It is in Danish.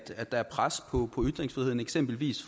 at der er pres på ytringsfriheden eksempelvis